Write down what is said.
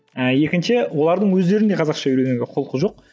ііі екінші олардың өздеріне қазақша үйренуге құлқы жоқ